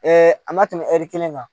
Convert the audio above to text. a ma tɛmɛ hɛri kelen kan